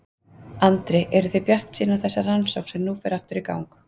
Andri: Eru þið bjartsýn á þessa rannsókn sem nú fer aftur í gang?